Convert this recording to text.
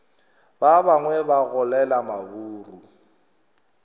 ba bangwe ba golela maburu